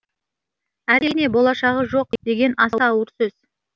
әрине болашағы жоқ деген аса ауыр сөз